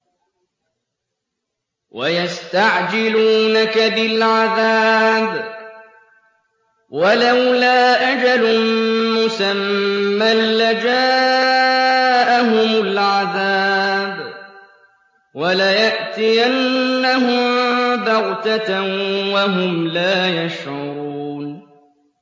وَيَسْتَعْجِلُونَكَ بِالْعَذَابِ ۚ وَلَوْلَا أَجَلٌ مُّسَمًّى لَّجَاءَهُمُ الْعَذَابُ وَلَيَأْتِيَنَّهُم بَغْتَةً وَهُمْ لَا يَشْعُرُونَ